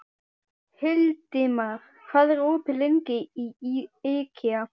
Hildimar, hvað er opið lengi í IKEA?